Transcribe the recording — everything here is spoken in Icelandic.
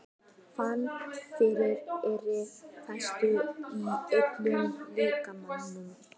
Fann fyrir þeirri vissu í öllum líkamanum.